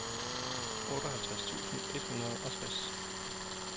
otteoghalvtreds tusind et hundrede og tres